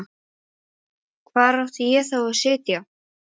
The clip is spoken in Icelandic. Hann átti von á þeim í dag eða á morgun.